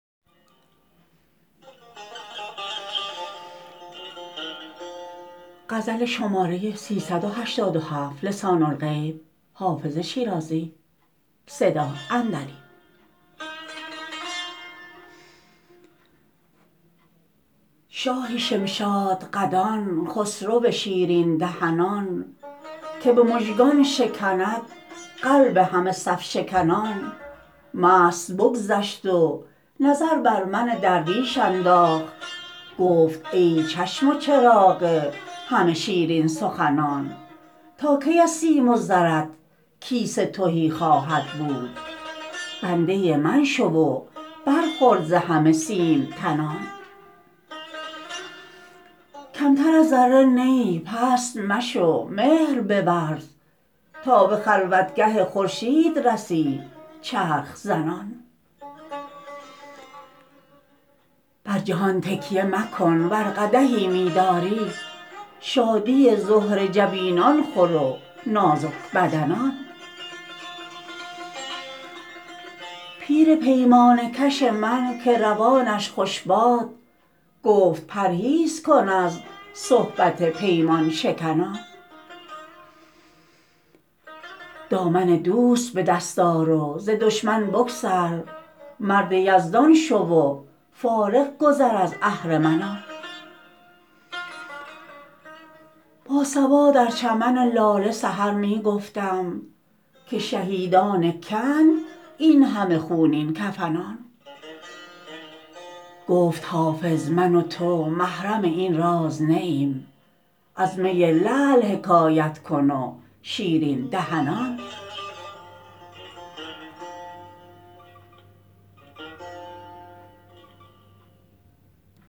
شاه شمشادقدان خسرو شیرین دهنان که به مژگان شکند قلب همه صف شکنان مست بگذشت و نظر بر من درویش انداخت گفت ای چشم و چراغ همه شیرین سخنان تا کی از سیم و زرت کیسه تهی خواهد بود بنده من شو و برخور ز همه سیم تنان کمتر از ذره نه ای پست مشو مهر بورز تا به خلوتگه خورشید رسی چرخ زنان بر جهان تکیه مکن ور قدحی می داری شادی زهره جبینان خور و نازک بدنان پیر پیمانه کش من که روانش خوش باد گفت پرهیز کن از صحبت پیمان شکنان دامن دوست به دست آر و ز دشمن بگسل مرد یزدان شو و فارغ گذر از اهرمنان با صبا در چمن لاله سحر می گفتم که شهیدان که اند این همه خونین کفنان گفت حافظ من و تو محرم این راز نه ایم از می لعل حکایت کن و شیرین دهنان